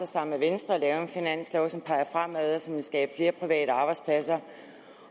sammen med venstre at lave en finanslov som peger fremad og som vil skabe flere private arbejdspladser